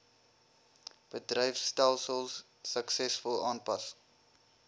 bedryfstelsels suksesvol aanpas